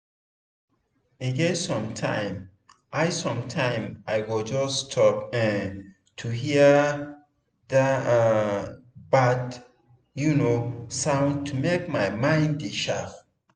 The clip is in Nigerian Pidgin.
e get sometime i sometime i go just stop um to hear um bird um sound to make my mind dey sharp.